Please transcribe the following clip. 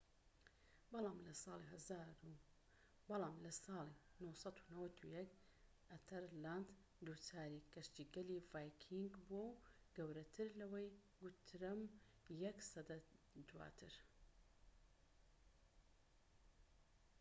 بەڵام لەساڵی ٩٩١ دا ئەتەرلاند دووچاری کەشتیگەلی ڤایکینگ بووەوە گەورەتر لەوەی گوترەم یەك سەدە دواتر